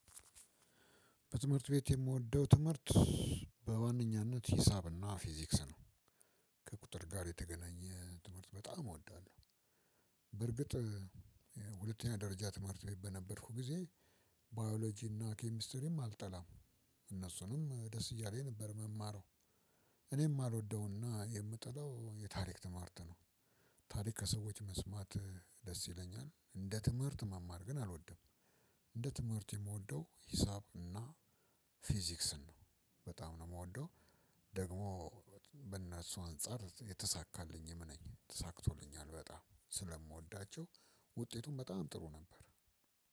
በትምህርት ቤት የምወደው ትምህርት በዋነኛነት ሂሳብና ፊዚክስ ነው ከቁጥር ጋር የተገናኘ ትምህርት በጣም እወዳለሁ። በርግጥ። ሁለተኛ ደረጃ ትምህርት ቤት በነበርኩ ጊዜ ባዮሎጂና ኬሚስትሪም አልጠላም። እነሱንም ደስ እያለኝ ነበር የምማረው። እኔም የማልወደውና የምጠላው የታሪክ ትምህርት ነው። ታሪክ ከሰዎች መስማት ደስ ይለኛል እንደ ትምህርት መማር ግን አልወደም። እንደ ትምህርት የምወደው ሂሳብ እና ፊዚክስን ነው በጣም ነው የምወደው። ደግሞ በእነሱ አንፃር የተሳካልኝም ነኝ ተሳክቶልኛል በጣም ስለምወዳቸው። ውጤቱም በጣም ጥሩ ነበር።